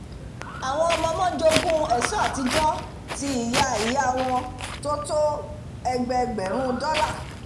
àwọn ọmọ-ọmọ jogún ẹ̀ṣọ́ àtijọ́ ti ìyà-ìyá wọn tí ó tó ẹgbẹgbẹ̀rún dollar